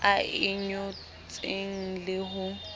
a e ngotseng le ho